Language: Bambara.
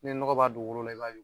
Ni nɔgɔ b'a dugukolo la, i b'a don